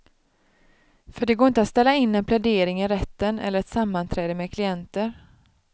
För det går inte att ställa in en plädering i rätten eller ett sammanträde med klienter.